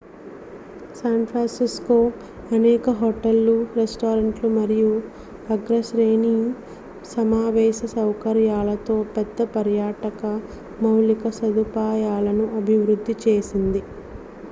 San Francisco అనేక హోటళ్ళు రెస్టారెంట్లు మరియు అగ్రశ్రేణి సమావేశ సౌకర్యాలతో పెద్ద పర్యాటక మౌలిక సదుపాయాలను అభివృద్ధి చేసింది